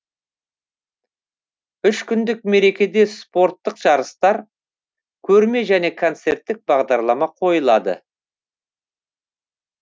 үш күндік мерекеде спорттық жарыстар көрме және концерттік бағдарлама қойылады